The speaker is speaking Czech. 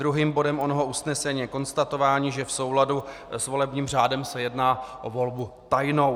Druhým bodem onoho usnesení je konstatování, že v souladu s volebním řádem se jedná o volbu tajnou.